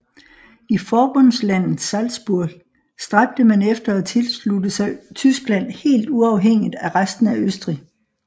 I forbundslandet Salzburg stræbte man efter at tilslutte sig Tyskland helt uafhængigt af resten af Østrig